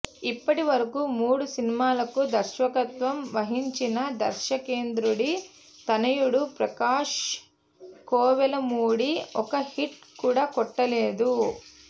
ఇప్పటివరకూ మూడు సినిమాలకు దర్శకత్వం వహించిన దర్శకేంద్రుడి తనయుడు ప్రకాశ్ కోవెలమూడి ఒక్క హిట్ కూడా కొట్టలేదు